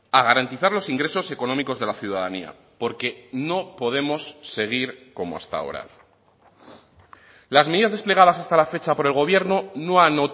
a garantizar los ingresos económicos de la ciudadanía porque no podemos seguir como hasta ahora las medidas desplegadas hasta la fecha por el gobierno no han